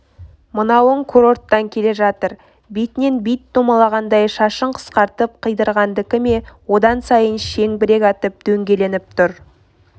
мынауың курорттан келе жатыр бетінен бит домалағандай шашын қысқартып қидырғандікі ме одан сайын шеңбірек атып дөңгеленіп тұр